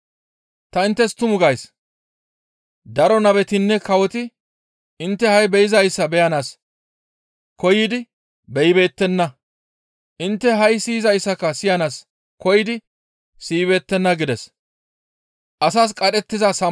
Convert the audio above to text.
Ta inttes tuma gays; daro nabetinne kawoti intte ha7i be7izayssa beyanaas koyidi beyibeettenna; intte ha7i siyizayssaka siyanaas koyidi siyibeettenna» gides.